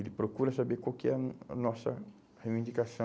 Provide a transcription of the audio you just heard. Ele procura saber qual que é a a nossa reivindicação.